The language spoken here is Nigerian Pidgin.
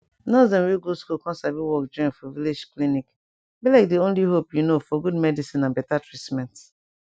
nurse dem wey go school com sabi work join for village clinic be like di only hope you know for good medicin and beta treatment